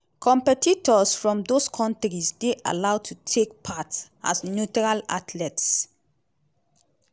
competitors from dose kontris dey allowed to take part as neutral athletes.